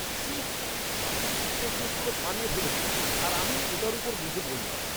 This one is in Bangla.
ছি, বাাসের সিটটায় কেউ কোনও পানীয় ফেলেছে, আর আমি ওটার ওপর বসে পড়লাম।